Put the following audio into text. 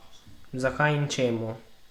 Zakaj in čemu?